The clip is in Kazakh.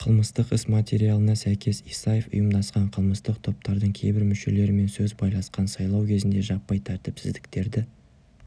қылмыстық іс материалына сәйкес исаев ұйымдасқан қылмыстық топтардың кейбір мүшелерімен сөз байласқан сайлау кезінде жаппай тәртіпсіздіктерді